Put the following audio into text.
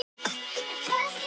Samkvæmt því var margt að.